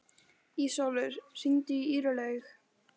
Ísólfur, hringdu í Irlaug.